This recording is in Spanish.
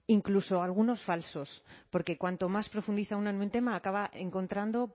incluso algunos falsos porque cuanto más profundiza una en un tema acaba encontrando